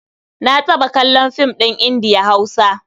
Na taɓa kallon fim ɗin Indiya-Hausa.